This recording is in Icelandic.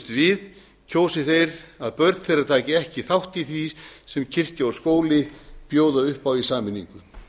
við kjósi þeir að börn þeirra taki ekki þátt í því sem kirkja og skóli bjóða upp á í sameiningu